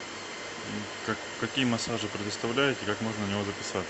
какие массажи предоставляете и как можно на него записаться